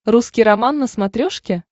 русский роман на смотрешке